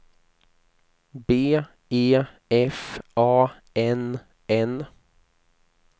B E F A N N